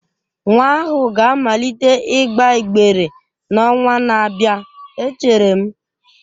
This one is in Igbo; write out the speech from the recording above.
Nwa ahụ ga-amalite ịgba ịgbere n'ọnwa na-abịa echere m